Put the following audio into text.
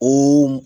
O